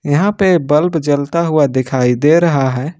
यहां पे बल्प जलता हुआ दिखाई दे रहा है।